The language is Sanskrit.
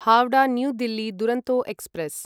Howrah new Delhi Duronto express